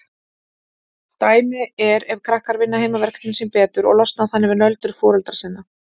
Dæmi er ef krakkar vinna heimaverkefnin sín betur og losna þannig við nöldur foreldra sinna.